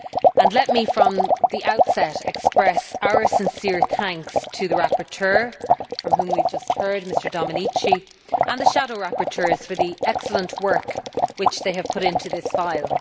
and let me from the outset express our sincere thanks to the rapporteur, from whom we have just heard, Mr Domenici, and the shadow rapporteurs for the excellent work which they have put into this file.